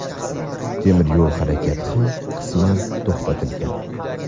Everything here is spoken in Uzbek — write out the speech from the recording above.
temir yo‘l harakati ham qisman to‘xtatilgan.